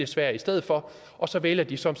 sverige i stedet for og så vælger de som